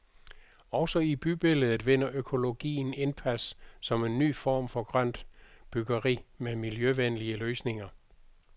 Også i bybilledet vinder økologien indpas som en ny form for grønt byggeri med miljøvenlige løsninger.